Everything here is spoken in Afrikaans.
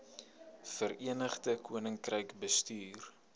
verenigde koninkryk bestuur